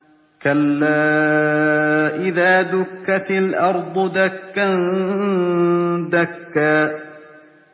كَلَّا إِذَا دُكَّتِ الْأَرْضُ دَكًّا دَكًّا